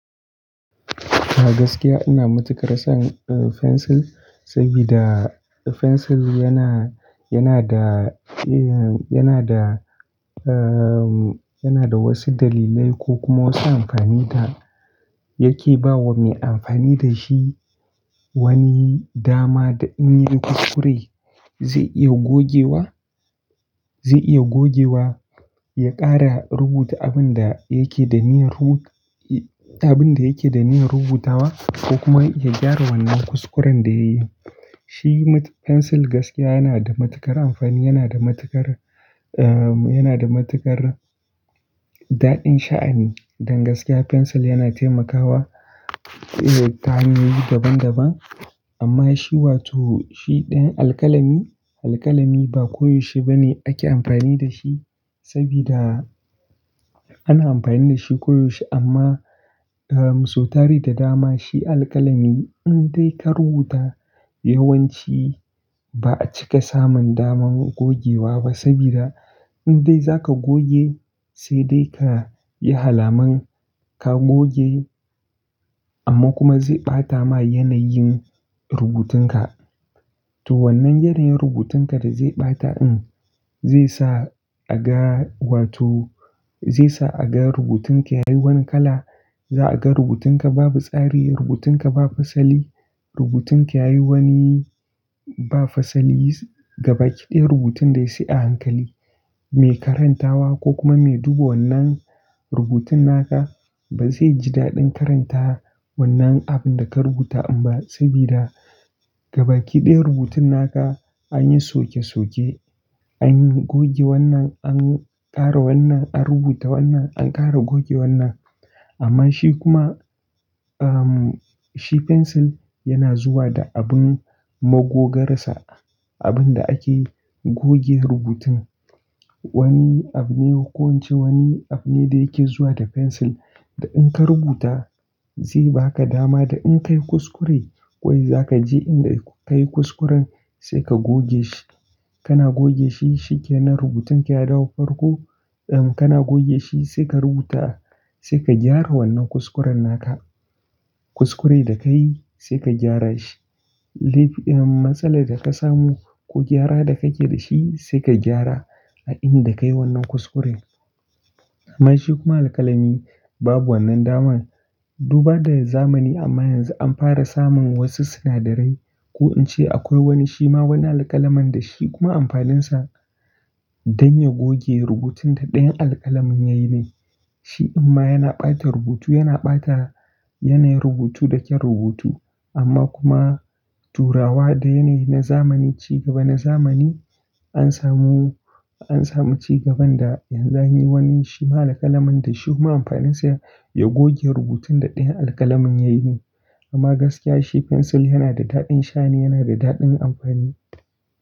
A gaskiya ina matuƙar son, uh, fensil, saboda fensil yana, yana da, yana da, erm, yana da wasu dalilai ko kuma wasu amfani da yake ba wa mai amfani da shi wani dama da in ya yi kuskure zai iya gogewa, zai iya gogewa, ya ƙara rubuta abin da yake da niyyar ru-- abin da yake da niyyar rubutawa ko kuma ya gyara wannan kuskuren da ya yi. Shi fensil gaskiya yana da matuƙar amfani, yana da matuƙar, erm, yana da matuƙar daɗin sha'ani. Dan gaskiya fensil yana taimakawa, irin ta hanyoyi daban daban. Amma shi wato shi ɗan alƙalami, alƙalami ba koyaushe ba ne ake amfani da shi saboda ana amfani da shi koyaushe amma, erm, su tari da dama shi alƙalami, in dai ka rubuta yawanci ba a cika samun daman gogewa ba saboda in dai za ka goge sai dai ka yi alaman ka goge amma kuma zai ɓata ma yanayin rubutunka. To wannan yanayin rubutunka da zai ɓata ɗin, zai sa a ga wato zai sa a ga rubutun ka yayi wani kala, za a ga rubutun ka babu tsari, rubutun ka ba fasali, rubutun ka yayi wani ba fasali, gabakidiya rubutun dai sai a hankali. Mai karantawa ko kuma me duba wannan rubutun naka ba zai ji daɗin karanta wannan abin da ka rubuta ba saboda gabakidiya rubutun naka, anyi soke soke, anyi goge wannan, an ƙara wannan, an rubuta wannan, an ƙara goge wannan. Amma shi kuma, erm, shi fensil yana zuwa da abin magogarsa, abin da ake goge rubutu. Wani abu ne ko ince wani abu ne da yake zuwa da fensil da in ka rubuta zai baka dama da in ka yi kuskure wai za ka je inda ka yi kuskuren sai ka goge shi. Kana goge shi shikenan rubutun ka ya dawo farko, erm, kana goge shi sai ka rubuta, sai ka gyara wannan kuskuren naka. Kuskure da ka yi sai ka gyara shi. Duk-- erm, matsalar da ka samu ko gyara da kake da shi sai ka gyara a inda ka yi wannan kuskuren. Amma shi kuma alƙalami babu wannan daman. Duk ba da zamani amma yanzu an fara samun wasu sinadarai, ko in ce akwai wani shima wani alƙalamin da shi kuma amfaninsa dan ya goge rubutun da dayan alƙalamin yayi ne. Shi amma yana ɓata rubutu, yana ɓata yanayin rubutu, da kyau rubutu amma kuma turawa da yanayi na zamani, ci gaba na zamani an samu, an samu ci gaban da yanzu anyi wani shima alƙalamin da shi kuma amfaninsa ya goge rubutun da ɗayan alƙalamin ya yi ne. Amma gaskiya shi fensil yana da daɗin sha'ani, yana da daɗin amfani.